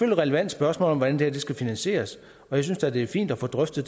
et relevant spørgsmål hvordan det her skal finansieres og jeg synes da det er fint at få drøftet